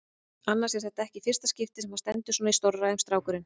Annars er þetta ekki í fyrsta skipti sem hann stendur í svona stórræðum, strákurinn.